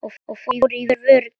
Og fórum í vörn.